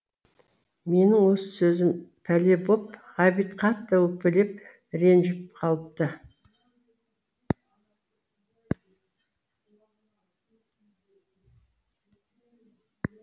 менің осы сөзім пәле боп ғабит қатты өкпелеп ренжіп қалыпты